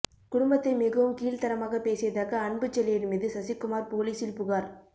குடும்பத்தைப் மிகவும் கீழ்தரமாக பேசியதாக அன்புச்செழியன் மீது சசிகுமார் போலீஸில் புகார்